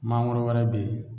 Mangoro wɛrɛ be yen